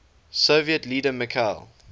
soviet leader mikhail